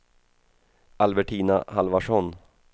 Albertina Halvarsson